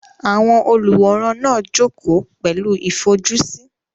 Àwọn olùwòran náà jókòó pẹ̀lú ìfojúsí.